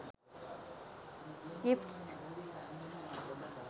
gifts